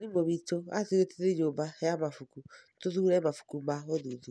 Mwarimũ witũ aatwĩrire tũthiĩ nyũmba ya mabuku tũthuure mabuku ma ũthuthuria